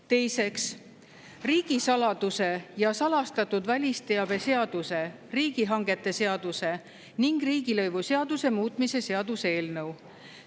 Teiseks, riigisaladuse ja salastatud välisteabe seaduse, riigihangete seaduse ning riigilõivuseaduse muutmise seaduse eelnõu.